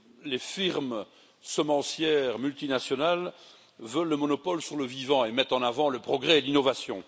Les firmes semencières multinationales veulent le monopole sur le vivant et mettent en avant le progrès et l'innovation.